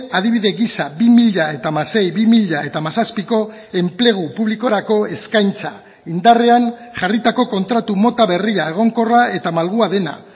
adibide gisa bi mila hamasei bi mila hamazazpiko enplegu publikorako eskaintza indarrean jarritako kontratu mota berria egonkorra eta malgua dena